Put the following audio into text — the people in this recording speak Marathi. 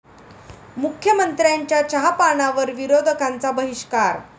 मुख्यमंत्र्यांच्या चहापानावर विरोधकांचा बहिष्कार